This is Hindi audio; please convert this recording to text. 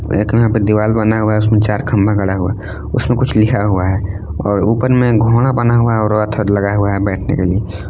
एक यहां पे दिवाल बना हुआ हैं उसमें चार खंबा गड़ा हुआ हैं उसमें कुछ लिखा हुआ है और ऊपर में घोड़ा बना हुआ हैं और रथ लगा हुआ हैं बैठने के लिए।